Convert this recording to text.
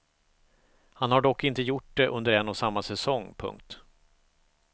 Han har dock inte gjort det under en och samma säsong. punkt